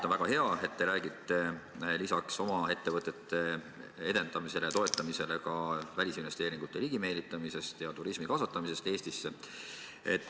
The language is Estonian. On väga hea, et te räägite lisaks oma ettevõtete edendamisele ja toetamisele ka välisinvesteeringute ligimeelitamisest ja turismi kasvatamisest Eestis.